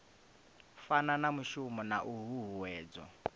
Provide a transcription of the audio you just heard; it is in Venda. fana na mushumo na huhuwedzo